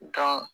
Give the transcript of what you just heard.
Gan